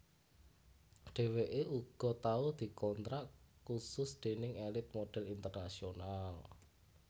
Dheweké uga tau dikontrak khusus déning Elite Modhel International